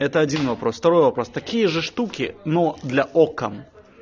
это один вопрос второй вопрос такие же штуки но для окон